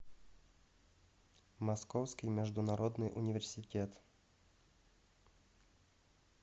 московский международный университет